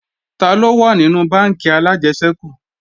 Taló wà nínú bánkì alájẹsẹ́kù